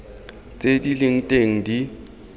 tse di leng teng di